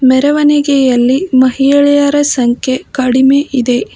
ಮೆರವಣಿಗೆಯಲ್ಲಿ ಮಹಿಳೆಯರ ಸಂಖ್ಯೆ ಕಡಿಮೆ ಇದೆ.